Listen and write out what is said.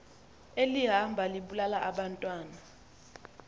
elihamba libulala abantwana